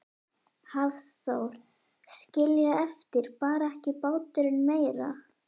Hafþór: Skilja eftir, bar ekki báturinn meira?